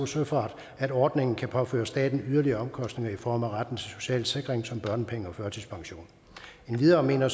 søfart at ordningen kan påføre staten yderligere omkostninger i form af retten til social sikring som børnepenge og førtidspension endvidere mener